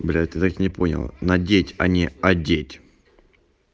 блять ты так не понял надеть а не одеть